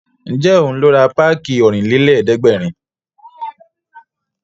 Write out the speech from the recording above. Ǹjẹ́ òun ló ra páàkì Ọ̀rìnlélẹ̀ẹ́dẹ́gbèrin